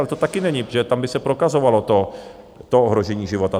Ale to také není, protože tam by se prokazovalo to ohrožení života.